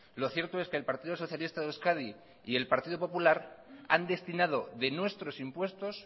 lo cierto es que el partido socialista de euskadi y el partido popular han destinado de nuestros impuestos